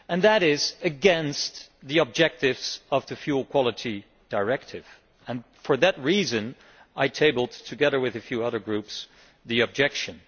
That is against the objectives of the Fuel Quality Directive, and for that reason I tabled together with a few other groups the objection.